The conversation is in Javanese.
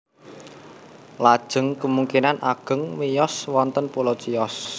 Lajeng kamungkinan ageng miyos wonten pulo Chios